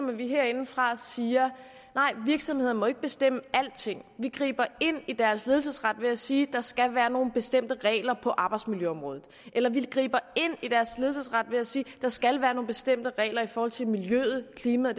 når vi herindefra siger nej virksomheder må ikke bestemme alting vi griber ind i deres ledelsesret ved at sige at der skal være nogle bestemte regler på arbejdsmiljøområdet eller vi griber ind i deres ledelsesret ved at sige at der skal være nogle bestemte regler i forhold til miljøet klimaet